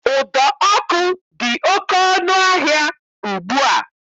Ụdọ ọkụ dị oké ọnụ ahịa ugbu a